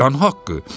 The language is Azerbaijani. Vicdan haqqı!